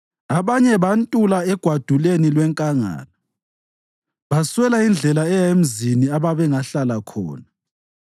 Abanye bantula egwaduleni lwenkangala, baswela indlela eya emzini ababengahlala khona.